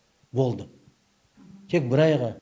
болды тек бір айға